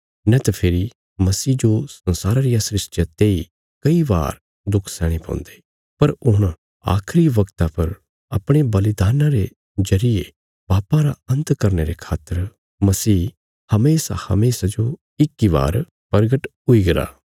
नैत फेरी मसीह जो संसारा रिया सृष्टिया तेई कई बार दुख सैहणे पौन्दे पर हुण आखिरी वगता पर अपणे बलिदान्ना रे जरिये पापां रा अन्त करने रे खातर मसीह हमेशाहमेशा जो इक इ बार प्रगट हुईगरा